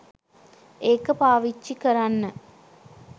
ඒක පාවිච්චි කරන්න